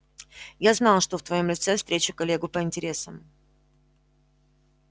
я знал что в твоём лице встречу коллегу по интересам